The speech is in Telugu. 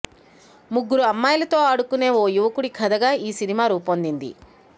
ముగ్గురు అమ్మాయిలతో ఆడుకునే ఓ యువకుడి కథగా ఈ సినిమా రూపొందింది